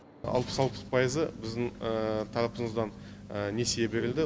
алпыс алты пайызы біздің тарапымыздан несие берілді